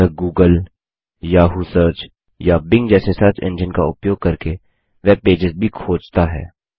यह googleयाहू सर्च या बिंग जैसे सर्च एंजिन का उपयोग करके वेब पेजस भी खोजता है